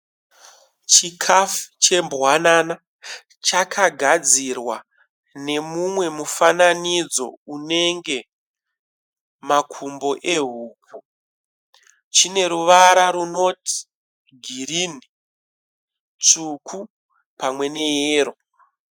Chikafu chembwanana chakagadzirwa nemumwe mufananidzo unenge makumbo ehuku. Chineruvara runoti girinhi, tsvuku pamwe neyero.